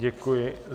Děkuji.